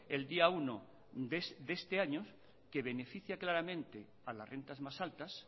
el día uno de este año que beneficia claramente a las rentas más altas